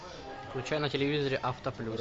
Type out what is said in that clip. включай на телевизоре авто плюс